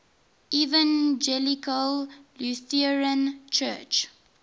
evangelical lutheran church